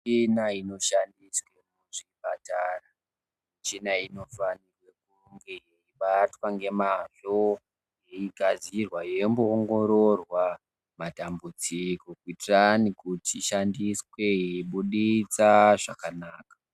Kune michina inoshandiswa kuzvipatara michina iyi inofanire lunge yeibatwa ngemazvo yeigadzirwa yeimboongororwa matambudziko kuti ishandiswe yeibuditsa zvakanaka.